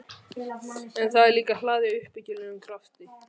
En það er líka hlaðið uppbyggilegum krafti.